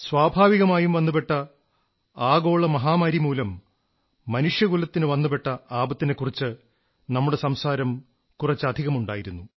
സ്വാഭാവികമായും വന്നുപെട്ട ആഗോള മഹാമാരി മനുഷ്യകുലത്തിനു വന്നുപെട്ട ആപത്തിനെക്കുറിച്ച് നമ്മുടെ സംസാരം കുറച്ചധികമുണ്ടായിരുന്നു